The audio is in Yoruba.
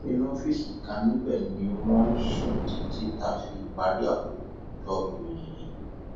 inú ọfíìsì kan níbẹ ni wọn ń sùn títí tá a fi parí àkójọ ìròyìn yìí